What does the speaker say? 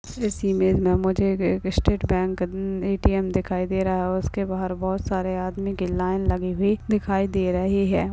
इस इमेज मे मुझे एक एक स्टेट बैंक ए_टी_एम दिखाई दे रहा है और उसके बाहर बहुत सारे आदमी की लाइन लगी हुई दिखाई दे रही है।